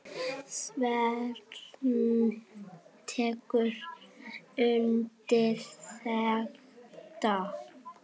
Sveinn tekur undir þetta.